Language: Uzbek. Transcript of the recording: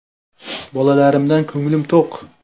Bolalarimdan ko‘nglim to‘q.